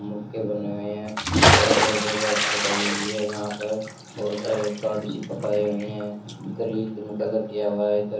मुक्के बने हुए हैं बहुत हुई है यहां पर बहुत सारे कार्ड चिपकाए हुई हैं में कलर किया हुआ है।